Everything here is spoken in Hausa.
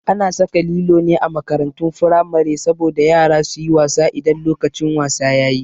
A na saka lilo ne a makarantun firamare saboda yara su yi wasa idan lokacin wasa yayi